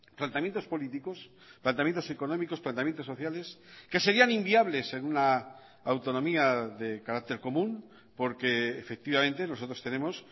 planteamientos políticos planteamientos económicos planteamientos sociales que serían inviables en una autonomía de carácter común porque efectivamente nosotros tenemos